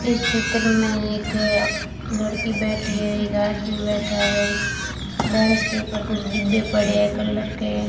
इस चित्र में एक लड़की बैठी है एक आदमी बैठा है बेंच के ऊपर कुछ डिब्बे पड़े कलर के --